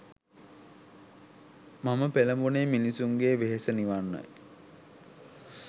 මම පෙළඹුණේ මිනිසුන්ගේ වෙහෙස නිවන්නයි.